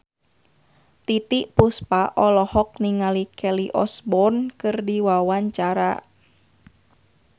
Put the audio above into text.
Titiek Puspa olohok ningali Kelly Osbourne keur diwawancara